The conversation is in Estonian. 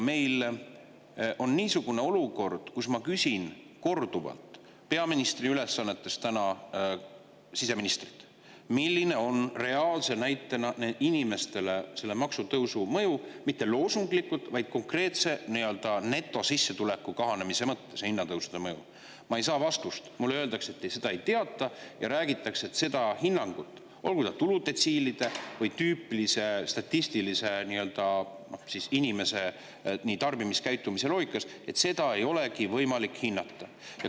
Meil on täna niisugune olukord, et kui ma olen korduvalt küsinud siseministrilt peaministri ülesannetes reaalset näidet, milline on selle maksutõusu mõju inimestele, mitte loosunglikku, vaid hinnatõusude mõju kohta konkreetse netosissetuleku kahanemise mõttes, siis ma ei saa vastust, mulle öeldakse, et seda ei teata, ja räägitakse, et seda, olgu siis tuludetsiilide või tüüpilise statistilise inimese tarbimiskäitumise loogikas, ei olegi võimalik hinnata.